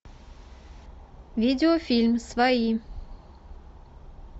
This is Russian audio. видеофильм свои